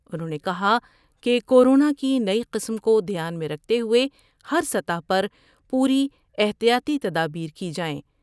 انھوں نے کہا کہ کورونا کی نئی قسم کو دھیان میں رکھتے ہوۓ ہر سطح پر پوری احتیاتی تدابیر کی جائیں ۔